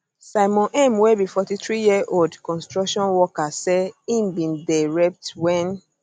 simon m wey be 43yearold construction worker say im bin dey raped wen